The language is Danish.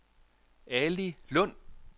Ali Lund